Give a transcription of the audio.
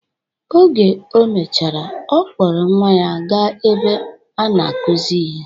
Oge o mechara, ọ kpọrọ nwa ya ga-ebe a na-akuzi ihe.